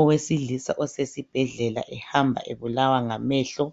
Owesilisa osesi bhedlela ehamba ebulawa ngamehlo